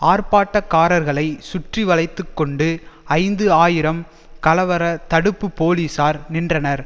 ஆர்ப்பாட்டக்காரர்களை சுற்றி வளைத்து கொண்டு ஐந்து ஆயிரம் கலவர தடுப்பு போலீசார் நின்றனர்